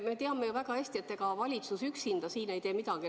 Me teame ju väga hästi, et ega valitsus üksinda ei tee siin midagi.